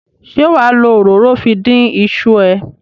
Ṣé wà á lo òróró fi dín iṣu ẹ?